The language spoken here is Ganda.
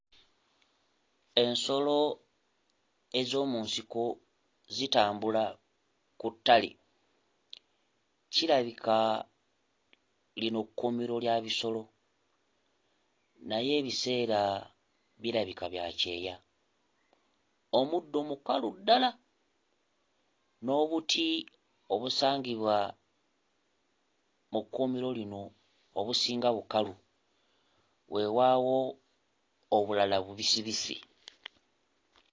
Ensolo ez'omu nsiko zitambula ku ttale. Kirabika lino kkuumiro lya bisolo naye ebiseera birabika bya kyeya. Omuddo mukalu ddala n'obuti obusangibwa mu kkuumiro lino obusinga bukalu, wewaawo obulala bubisibisi.